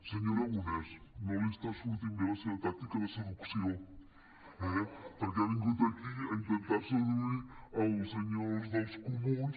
senyor aragonès no li està sortint bé la seva tàctica de seduc·ció eh perquè ha vingut aquí a intentar seduir els senyors dels comuns